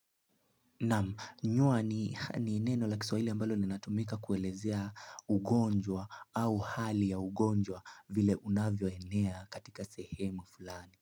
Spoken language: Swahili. Naam nyua ni neno la kiswa hili ambalo li natumika kuelezea ugonjwa au hali ya ugonjwa vile unavyo enea katika sehemu fulani.